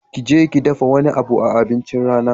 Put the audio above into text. Kije ki dafa wani abu a abincin rana